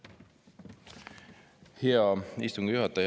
Hea istungi juhataja!